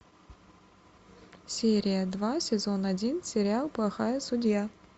серия два сезон один сериал плохая судья